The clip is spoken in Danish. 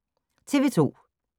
TV 2